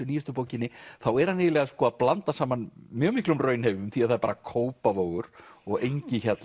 nýjustu bókinni þá er hann eiginlega að blanda saman mjög miklum raunheimum því það er bara Kópavogur og